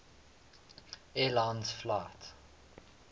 air lines flight